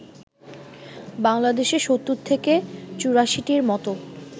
বাংলাদেশে ৭০ থেকে ৮৪টির মতো